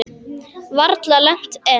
Varla lent enn.